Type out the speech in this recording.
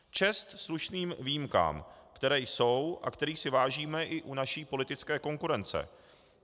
Čest slušným výjimkám, které jsou a kterých si vážíme i u naší politické konkurence.